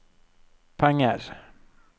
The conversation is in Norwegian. penger